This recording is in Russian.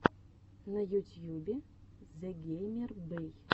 на ютьюбе зэгеймербэй